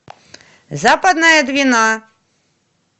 западная двина